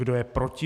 Kde je proti?